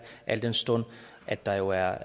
al den stund at der jo er